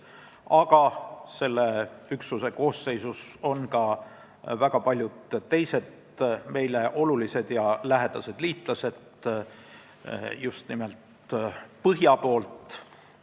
Aga selle üksuse koosseisus on ka väga paljud teised meile olulised ja lähedased liitlased just nimelt põhja poolt.